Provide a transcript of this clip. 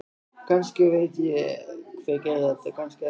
Kannski veit ég hver gerði þetta, kannski ekki.